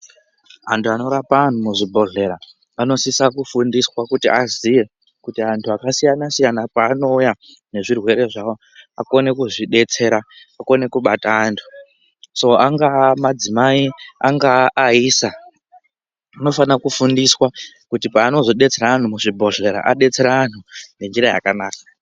Antu anorapa antu muzvibhedhlera anosisa kufundiswa kuti aziye kuti antu akasiyana-siyana pa-anouya nezvirwere zvavo akone kuzvidetsera, akone kubata antu. So angava madzimai, angaa aisa, anofana kufundiswa kuti paanozodetsera vantu muchibhedhlera, adetsere antu ngenjira yakanaka.